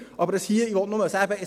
Hier will ich aber nur sagen: